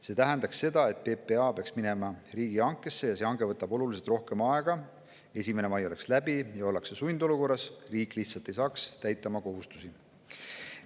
See tähendab seda, et PPA peaks tegema riigihanke, mis võtab oluliselt rohkem aega, 1. mai oleks möödas ja siis ollakse sundolukorras, riik ei saaks lihtsalt oma kohustusi täita.